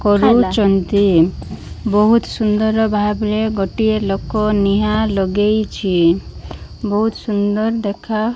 କରୁଛନ୍ତି ବହୁତ ସୁନ୍ଦର୍ ଭାବରେ ଗୋଟିଏ ଲୋକ ନିହା ଲଗେଇଚି ବହୁତ ସୁନ୍ଦର ଦେଖା --